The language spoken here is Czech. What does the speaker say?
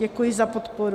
Děkuji za podporu.